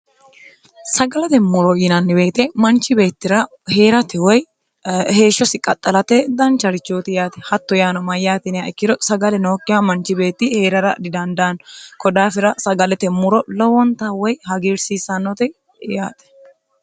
sagalate muro yinannibeete manchi beettira hee'rate woy heeshshosi qaxxalate dancharichooti yaate hatto yaano mayyaatiniha ikkiro sagale nookkiha manchi beetti hee'rara didandaanno kodaafira sagalete muro lowonta woy hagiirsiissannote yaate